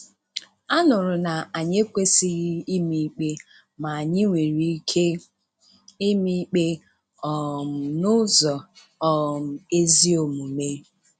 A nụrụ na anyị ekwesịghị ịma ikpe, ma anyị nwere ike ịma ikpe um n'ụzọ um ezi omume.